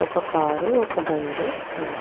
ఒక కారు ఒక బండి ఉంది .